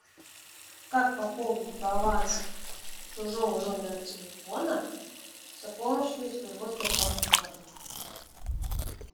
как пополнить баланс чужого номера телефона с помощью своего сбербанк онлайна